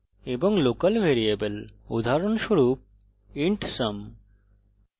এবং local variable উদাহরণস্বরূপ int sum;